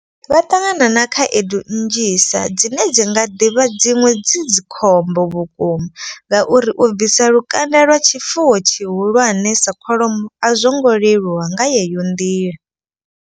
Vha ṱangana na khaedu nnzhi sa dzine dzi nga ḓivha dziṅwe dzi dzikhombo vhukuma. Ngauri u bvisa lukanda lwa tshifuwo tshihulwane sa kholomo a zwo ngo leluwa nga yeyo nḓila.